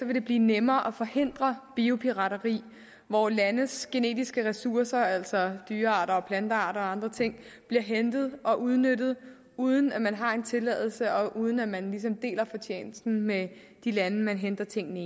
det blive nemmere at forhindre biopirateri hvor landes genetiske ressourcer altså dyrearter og plantearter og andre ting bliver hentet og udnyttet uden at man har en tilladelse og uden at man ligesom deler fortjenesten med de lande man henter tingene